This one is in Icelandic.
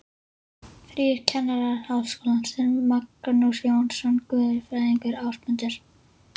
Þrír kennarar Háskólans, þeir Magnús Jónsson guðfræðingur, Ásmundur